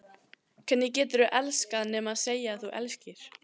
Hvernig geturðu elskað nema segja að þú elskir?